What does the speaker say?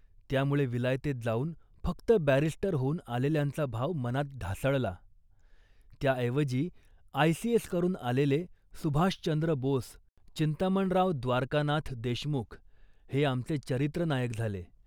त्यामुळे विलायतेत जाऊन फक्त बॅरिस्टर होऊन आलेल्यांचा भाव मनात ढासळला. त्याऐवजी आयसीएस करून आलेले सुभाषचंद्र बोस, चिंतामणराव द्वारकानाथ देशमुख हे आमचे चरित्रनायक झाले